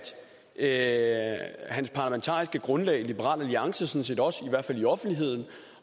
at hans parlamentariske grundlag liberal alliance sådan set også i hvert fald i offentligheden